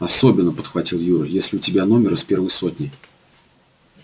особенно подхватил юра если у тебя номер из первой сотни